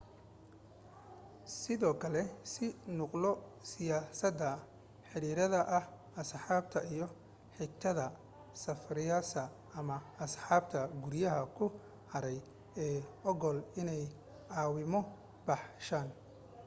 sidoo kale sii nuqulo siyaasada/ xiriirada ah asxaabta iyo xigtada safraysa ama asxaabta guryihii ku haray ee ogol inay caawimo baxshaan